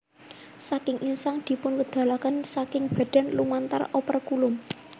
Saking insang dipunwedalaken saking badan lumantar operkulum